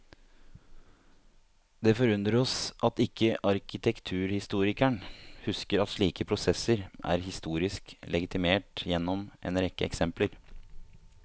Det forundrer oss at ikke arkitekturhistorikeren husker at slike prosesser er historisk legitimert gjennom en rekke eksempler.